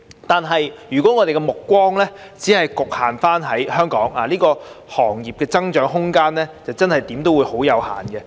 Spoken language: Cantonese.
但是，如果我們的目光只局限於香港，這些行業的增長空間，無論如何總是有限。